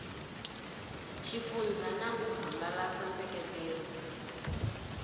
xifundzha na ku hangalasa nseketelo